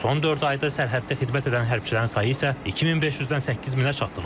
Son dörd ayda sərhəddə xidmət edən hərbçilərin sayı isə 2500-dən 8000-ə çatdırılıb.